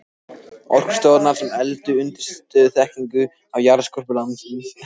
Orkustofnunar sem efldu undirstöðuþekkingu á jarðskorpu landsins.